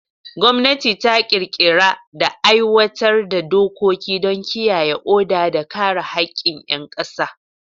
Gwamnati ta ƙirƙira da aiwatar da dokoki don kiyaye oda da kare haƙƙin ƴan ƙasa.